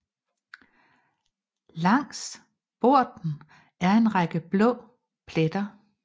Langs borten er en række blå pletter